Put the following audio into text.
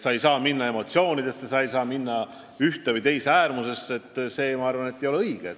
Sa ei saa minna emotsioonidesse, sa ei saa minna ühte või teise äärmusesse – see ei oleks õige.